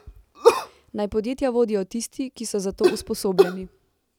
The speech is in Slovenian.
Naj podjetja vodijo tisti, ki so za to usposobljeni.